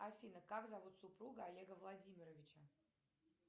афина как зовут супругу олега владимировича